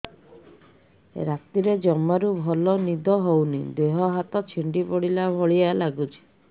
ରାତିରେ ଜମାରୁ ଭଲ ନିଦ ହଉନି ଦେହ ହାତ ଛିଡି ପଡିଲା ଭଳିଆ ଲାଗୁଚି